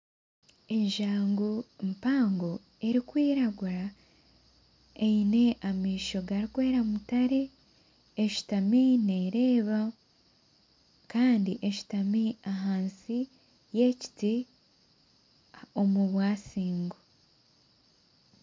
Enjangu mpango erukwiragura eine amaisho garikwera mutare eshutami nereeba kandi eshutami ahansi y'ekiti omu bwasingo.